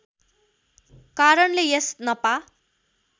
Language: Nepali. कारणले यस नपा